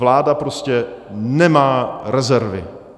Vláda prostě nemá rezervy.